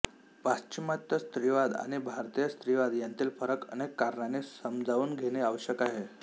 पाश्चिमात्य स्त्रीवाद आणि भारतीय स्त्रीवाद यांतील फरक अनेक कारणांनी समजावून घेणे आवश्यक आहे